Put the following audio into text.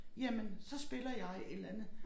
Jamen så spiller jeg et eller andet